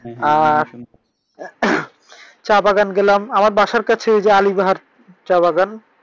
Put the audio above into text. আহ চা বাগান গেলাম। আমার বাসায় কাছে যে ঐযে আলী বাহার চা বাগান।